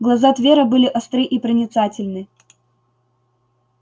глаза твера были остры и проницательны